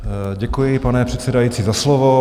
Děkuji, pane předsedající, za slovo.